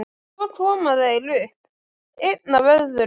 Svo koma þeir upp, einn af öðrum.